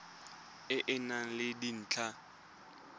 e e nang le dintlha